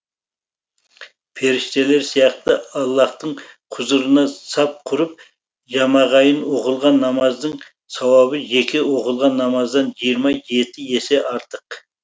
періштелер сияқты аллаһтың құзырына сап құрып жамағайын оқылған намаздың сауабы жеке оқылған намаздан жиырма жеті есе артық